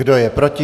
Kdo je proti?